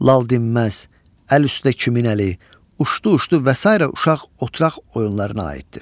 Lal dinməz, Əl üstə kimin əli, Uşdu-uşdu və sairə uşaq oturaq oyunlarına aiddir.